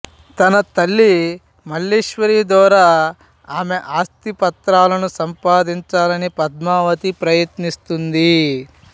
తన తల్లి మల్లీశ్వరి ద్వారా ఆమె ఆస్తి పత్రాలను సంపాదించాలని పద్మావతి ప్రయత్నిస్తుంది